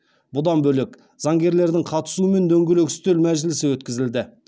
бұдан бөлек заңгерлердің қатысуымен дөңгелек үстел мәжілісі өткізілді